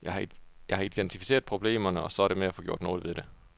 Jeg har identificeret problemerne, og så er det med at få gjort noget ved det.